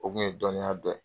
O kun ye dɔninya dɔ ye